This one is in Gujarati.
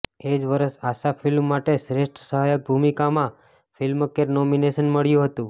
એ જ વર્ષે આશા ફિલ્મ માટે શ્રેષ્ઠ સહાયક ભૂમિકામાં ફિલ્મફેર નોમિનેશન મળ્યું હતું